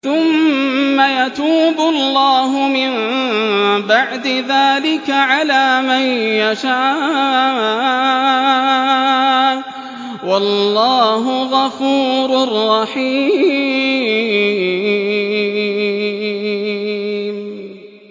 ثُمَّ يَتُوبُ اللَّهُ مِن بَعْدِ ذَٰلِكَ عَلَىٰ مَن يَشَاءُ ۗ وَاللَّهُ غَفُورٌ رَّحِيمٌ